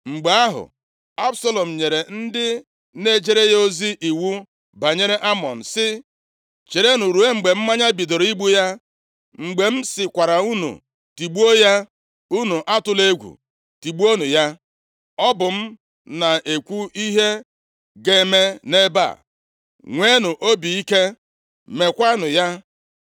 Mgbe ahụ, Absalọm nyere ndị na-ejere ya ozi iwu banyere Amnọn sị, “Cherenụ ruo mgbe mmanya bidoro igbu ya, mgbe m sịkwara unu tigbuo ya, unu atụla egwu, tigbuonụ ya. Ọ bụ m na-ekwu ihe ga-eme nʼebe a. Nweenụ obi ike, meekwanụ ya.”